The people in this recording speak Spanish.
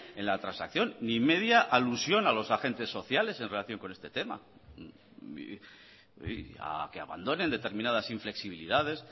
en la transacción ni media alusión a los agentes sociales en relación con este tema a que abandonen determinadas inflexibilidades